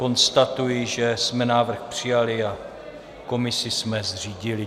Konstatuji, že jsme návrh přijali a komisi jsme zřídili.